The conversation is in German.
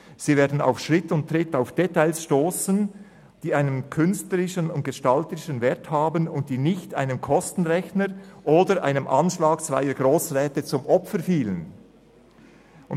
Sie werden auf Schritt und Tritt auf Details stossen, die einen künstlerischen und gestalterischen Wert haben und nicht einem Kostenrechner oder einem Anschlag zweier Grossräte zum Opfer gefallen sind.